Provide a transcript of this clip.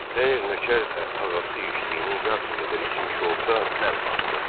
Əgər nökər də ağası içdiyinin yarısı qədər içmiş olsa, mən batdım.